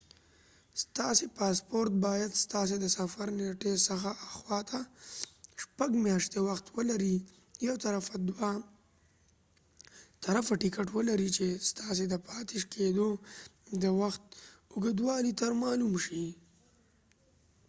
ستاسې پاسپورت باید ستاسې د سفر د نيټی څخه اخواته شپږ میاشتی وخت ولري یو طرفه دوه طرفه ټکټ ولري چې ستاسې د پاتی کېدو د وخت اوږدوالی تر معلوم شي